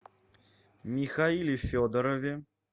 михаиле федорове